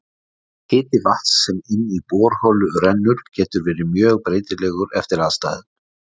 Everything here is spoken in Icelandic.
Hiti vatns sem inn í borholu rennur getur verið mjög breytilegur eftir aðstæðum.